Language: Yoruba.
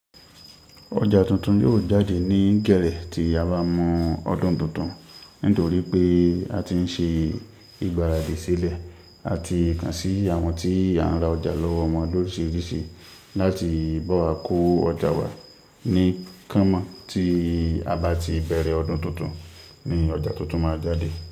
Oja tuntun yóò jáde ní gẹ́rẹ́ ti a ba mu ọdún tuntun, nítorí pé a ti ń ṣe ìgbáradì sílẹ̀, a ti kàn sí àwọn ti a ń ra ọjà lọ́wọ́ won loriṣirisi láti bá wa kó ọjà wá. Ní kán mọ́ tí a bá ti bẹ̀rẹ̀ ọdún tuntun ni ọjà tuntun máa jáde.